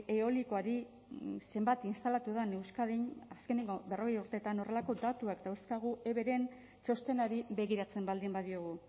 eolikoari zenbat instalatu den euskadin azkeneko berrogei urteetan horrelako datuak dauzkagu everen txostenari begiratzen baldin badiogu